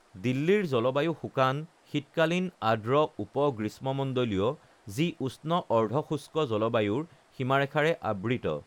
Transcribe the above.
দিল্লীৰ জলবায়ু শুকান-শীতকালীন, আৰ্দ্ৰ উপ-গ্ৰীষ্মমণ্ডলীয়, যি উষ্ণ অৰ্ধশুষ্ক জলবায়ুৰ সীমাৰেখাৰে আবৃত৷